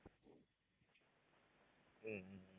உம் உம்